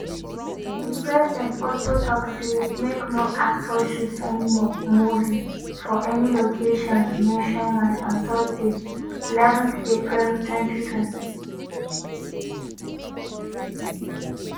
di president also tok say make no actor shoot any mo movie for any locations nationwide on thursday eleven th april twenty twe.